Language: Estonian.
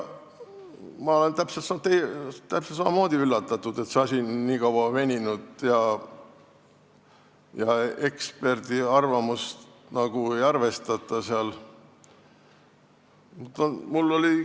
Ma olen täpselt samamoodi üllatunud, et see asi nii kaua veninud on ja eksperdiarvamust nagu ei arvestata.